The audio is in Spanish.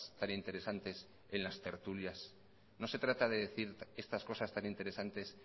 tan interesantes en las tertulias no se trata de decir estas cosas tan interesantes